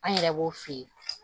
An yɛrɛ b'o f'i ye